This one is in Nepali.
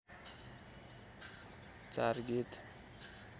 चार गीत